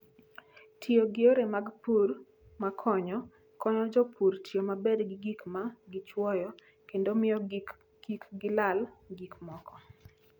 Tiyo gi yore mag pur makonyo, konyo jopur tiyo maber gi gik ma gichwoyo kendo miyo kik gilal gik moko.